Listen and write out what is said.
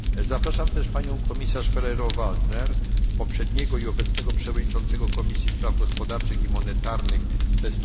Zapraszam też panią komisarz Ferrero Waldner, poprzednią i obecną przewodniczącą Komisji Spraw Gospodarczych i Monetarnych tj.